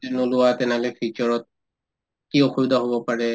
যদি নোলোৱা তেনেহলে future ত কি অসুবিধা হব পাৰে